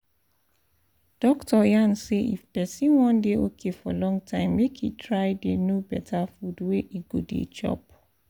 doctor yarn say if person wan dey okay for long time make e try dey know better food wey e go dey chop